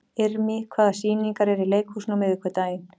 Irmý, hvaða sýningar eru í leikhúsinu á miðvikudaginn?